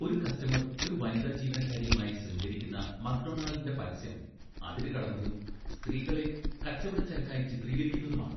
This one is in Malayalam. ഒരു കസ്റ്റമർ ഒരു വനിതാ ജീവനക്കാരിയുമായി ശൃംഗരിക്കുന്ന മക്ഡൊണാൾഡിന്റെ പരസ്യം അതിരുകടന്നതും സ്ത്രീകളെ കച്ചവടച്ചരക്കായി ചിത്രീകരിക്കുന്നതുമാണ്.